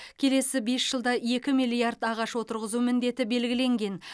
келесі бес жылда екі миллиард ағаш отырғызу міндеті белгіленген